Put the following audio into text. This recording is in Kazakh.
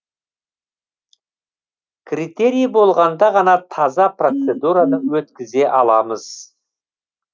критерий болғанда ғана таза процедураны өткізе аламыз